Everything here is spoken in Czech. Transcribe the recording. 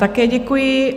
Také děkuji.